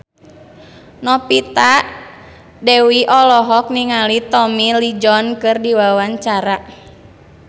Novita Dewi olohok ningali Tommy Lee Jones keur diwawancara